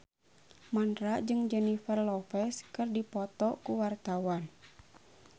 Mandra jeung Jennifer Lopez keur dipoto ku wartawan